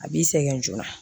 A b'i sɛgɛn joona